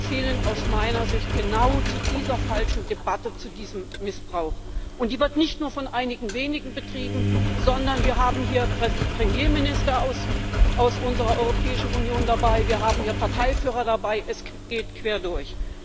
zählen aus meiner Sicht genau zu dieser falschen Debatte, zu diesem Missbrauch. Die wird nicht nur von einigen wenigen betrieben, sondern wir haben hier Premierminister aus unserer Europäischen Union dabei, wir haben hier Parteiführer dabei, es geht quer durch.